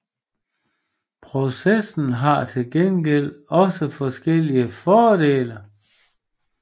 Processen har til gengæld også forskellige fordele